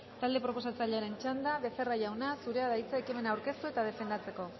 talde proposatzailearen txanda becerra jauna zurea da hitza ekimena aurkeztu eta defendatzeko